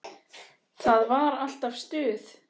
Það var alltaf stuð.